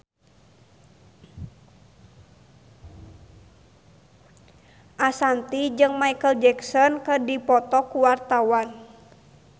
Ashanti jeung Micheal Jackson keur dipoto ku wartawan